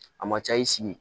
A ma ca i sigi